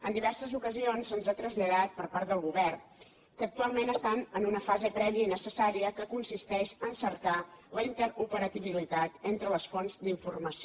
en diverses ocasions se’ns ha traslladat per part del govern que actualment estan en una fase prèvia i necessària que consisteix a cercar la interoperabilitat entre les fonts d’informació